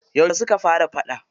Yauce suka fara faɗa?